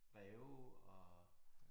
Breve og